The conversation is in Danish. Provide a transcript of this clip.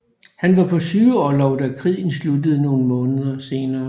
Han var på sygeorlov da krigen sluttede nogle måneder senere